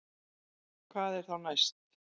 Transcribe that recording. Hvað er þá næst